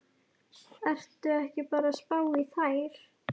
Ertu ekki bara að spá í þær?